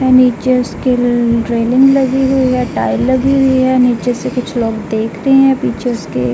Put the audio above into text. नीचे उसके रेलिंग लगी हुई है। टाइल लगी हुई है। नीचे से कुछ लोग देख रहे हैं। पीछे उसके --